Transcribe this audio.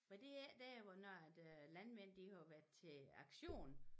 Var det ikke dér hvor når at øh landmænd de havde været til aktion